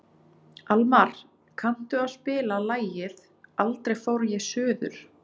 Almar, kanntu að spila lagið „Aldrei fór ég suður“?